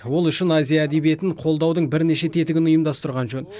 ол үшін азия әдебиетін қолдаудың бірнеше тетігін ұйымдастырған жөн